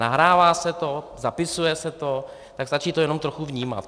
Nahrává se to, zapisuje se to, tak stačí to jenom trochu vnímat.